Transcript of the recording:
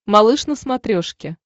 малыш на смотрешке